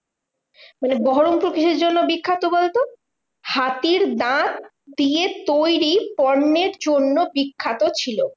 মানে বহরমপুর কিসের জন্য বিখ্যাত বলতো? হাতির দাঁত দিয়ে তৈরী পণ্যের জন্য বিখ্যাত ছিল।